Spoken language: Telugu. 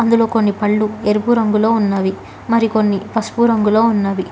ఇందులో కొన్ని పళ్ళు ఎరుపు రంగు లో ఉన్నాయి మరికొన్ని పసుపు రంగులో ఉన్నది.